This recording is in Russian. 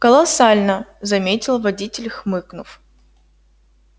колоссально заметил водитель хмыкнув